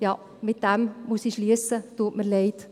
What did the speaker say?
Damit muss ich schliessen, tut mir leid.